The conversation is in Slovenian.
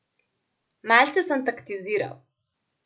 Malce sem taktiziral.